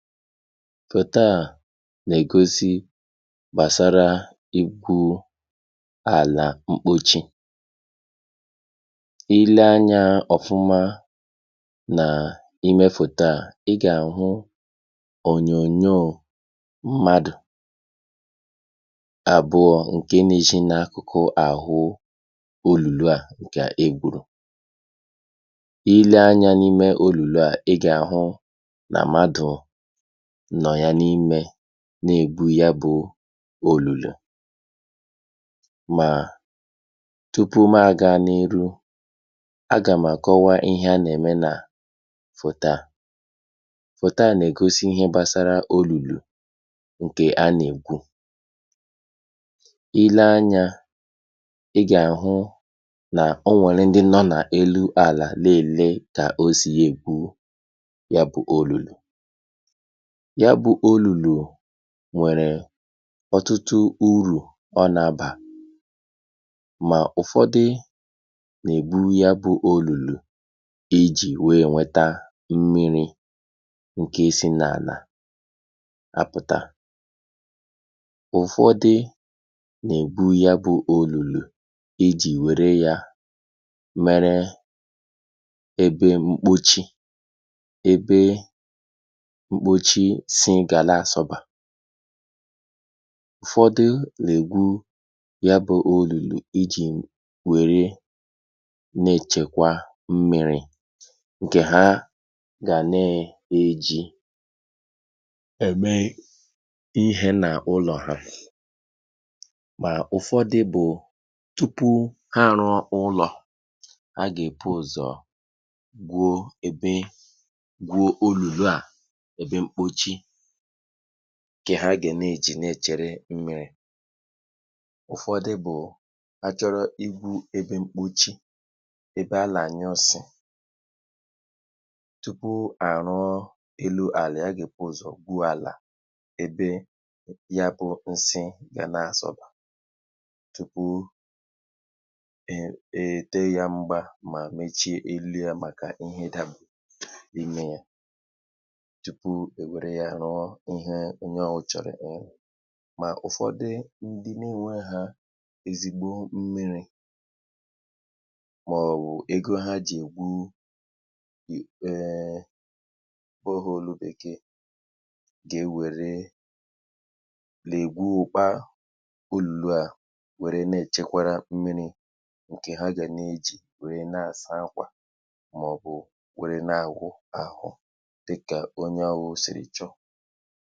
Foto à nà-ègosi gbàsara igwu̇ àlà mkpochi. i lee anyȧ ọ̀fụma n’imė fòto à, i gà-àhụ ònyònyò mmadù àbụọ̇ ǹke nȧ-ezhi n’akụkụ àhụ olùlu à ǹkè egbùrù. Ị lee anyȧ n’ime olùlù à, i gà-àhụ nà mmadù nọ̀ yà n’imė na-egwu ya bụ olùlù. Mà tupu ma àga n’iru, agà m̀ àkọwa ihe a nà-ème nà foto a. Fòto à nà-ègosi ihe gbasara olùlù ǹkè a nà-ègwu. ị lee anyà, ị gà-àhụ nà o nwèrè ndị nọ nà elu àlà lelee tà o siya ègbu ya bụ olùlù. Ya bụ olùlù nwèrè ọtụtụ urù ọ n’àbà mà ụ̀fọdị nà-ègburu ya bụ olùlù ijì wee nweta mmiri̇ ǹke si n’àlà apụ̀ta. Ụ̀fọdị nà-ègwu ya bụ olùlù ijì wère ya mere ebe mkpochi; ebe mkpochi si nga la-asọ̀ba. Ùfọdị lègwu ya bụ̇ olùlù ijì wère na-èchèkwa mmi̇ri̇ ǹkè ha gà na-èji ème ihe nà ụlọ̀ ha mà ụ̀fọdị bụ̀ tupu ha rụọ ụlọ̀, ha gà èpụ ụzọ̀ gwuo ebe gwuo olùlù à, ebe mkpochi, nkè ha ge na-èjì na-èchere mmi̇ri̇. Ụ̀fọdụ bụ̀ a chọrọ igwu ebe mkpòchi, ebe alà-ànyụ nsị̀, tupu à rụọ elu àlà, a gè puù ụ̀zọ̀ gwuo àlà ebe ya bụ̇ ǹsị ga na-àsọ̀bà, tupu um è ète ya mgba mà mechie elu̇ ya màkà ihė daba l’ime ya tupu e were ya rụọ ihe onye ọwụ chọ̀rọ̀ irụ. Mà ụ̀fọdụ ndị na-ènwehȧ ezigbo mmiri̇ mà ọ̀bụ̀ ego ha jì ègwu um borehole bèkèè ge ewère lègwu òkpaa olulu à wère na-èchekwara mmiri̇ ǹkè ha gà na-ejì wère na-àsa akwà mà ọ̀bụ̀ wère na-àwụ àhụ dika onye ahụ siri chọọ.